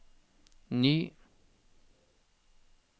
ny